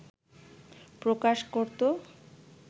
প্রকাশ করত